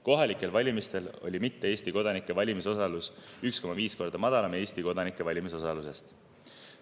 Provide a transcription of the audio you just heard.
Kohalikel valimistel oli mitte Eesti kodanike valimisosalus 1,5 korda madalam Eesti kodanike valimisosalusest.